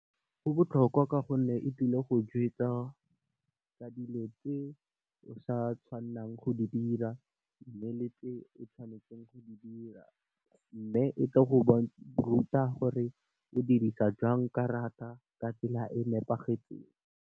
Go botlhokwa ka gonne e tlile go ka dilo tse o sa tshwannang go di dira mme, le tse o tshwanetseng go di dira. Mme, e tlo go ruta gore o dirisa jang karata ka tsela e nepagetseng.